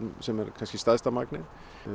sem er kannski stærsta magnið